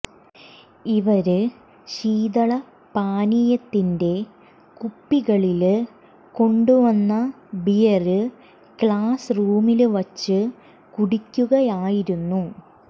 ഇവര് ശീതള പാനീയത്തിന്റെ കുപ്പികളില് കൊണ്ടുവന്ന ബിയര് ക്ലാസ് റൂമില് വച്ച് കുടിക്കുകയായിരുന്നു